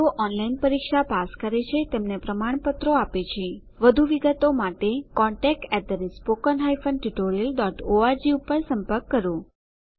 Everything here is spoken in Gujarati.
જેઓ ઓનલાઇન પરીક્ષા પાસ કરે છે તેમને પ્રમાણપત્રો આપે છે વધુ વિગતો માટે કૃપા કરી contactspoken tutorialorg ઉપર સંપર્ક કરો